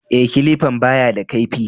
E, kilifan ba ya da kaifi.